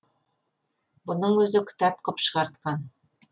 бұның өзі кітап қып шығартқан